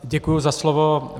Děkuji za slovo.